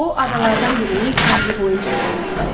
O adadalardan birinin sahili boyunca irəliləyirdi.